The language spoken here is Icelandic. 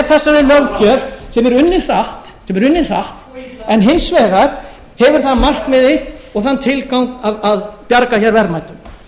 þessari löggjöf sem er unnin hratt en hins vegar hefur það að markmiði og þann tilgang að bjarga hér verðmætum